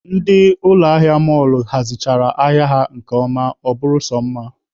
Ndị ụlọ ahịa mọlụ hazichara ahịa ha nke ọma, ọ bụrụ sọ mma.